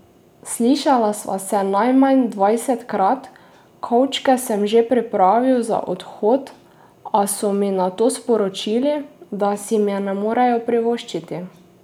Slišala sva se najmanj dvajsetkrat, kovčke sem že pripravil za odhod, a so mi nato sporočili, da si me ne morejo privoščiti.